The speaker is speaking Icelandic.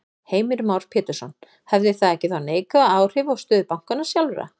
Heimir Már Pétursson: Hefði það ekki þá neikvæð áhrif á stöðu bankanna sjálfra?